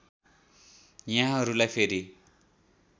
यहाँलाई फेरि